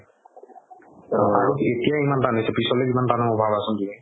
এতিয়াই ইমান তান হৈছে পিছলৈ কিমান টান হ'ব ভাবাচোন তুমি